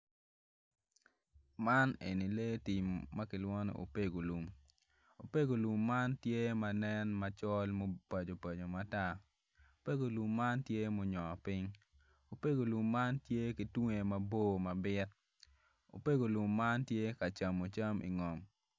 Man eni lee tim ma kilwongo ni oopego lum opego lum man tye ma nen macol ma opaco paco matar opego lum man tye munyongo piny opego lum man tye ki tunge maboco mabit opego lum man tye ka camo cam ingom.